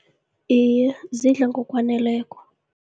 Iye, zidla ngokwaneleko.